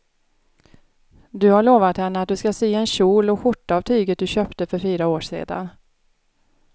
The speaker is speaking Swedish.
Du har lovat henne att du ska sy en kjol och skjorta av tyget du köpte för fyra år sedan.